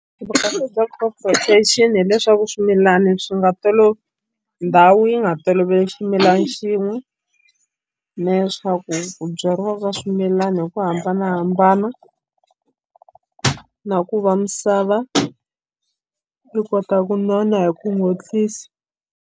bya crop rotation hileswaku swimilani swi nga ndhawu yi nga toloveli ximilana xin'we na leswaku ku byariwa ka swimilana hi ku hambanahambana na ku va misava yi kota ku nona hi ku .